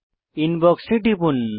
inbox এ টিপুন